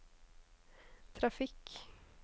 trafikk